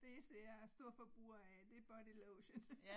Det eneste jeg er storforbruger af det bodylotion